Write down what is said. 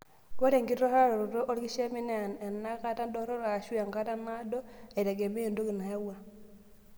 Ore enkiturraroto olkishamiet naa enenkata dorop aashu enkata naado aitegemea entoki nayawua.